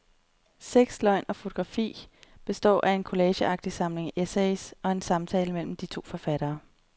Sex, løgn og fotografi består af en collageagtig samling essays og en samtale mellem de to forfattere.